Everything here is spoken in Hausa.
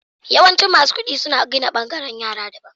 Yawanci, masu kudi suna gina bangaren yara daban.